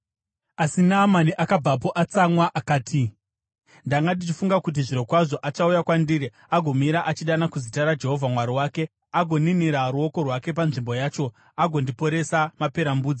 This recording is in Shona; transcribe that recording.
Asi Naamani akabvapo atsamwa akati, “Ndanga ndichifunga kuti zvirokwazvo achauya kwandiri agomira achidana kuzita raJehovha Mwari wake, agoninira ruoko rwake panzvimbo yacho agondiporesa maperembudzi.